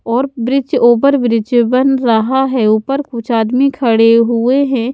और ब्रिज ऊपर ब्रिज बन रहा है ऊपर कुछ आदमी खड़े हुए है।